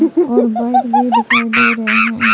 और बाइक भी दिखाई दे रहे हैं।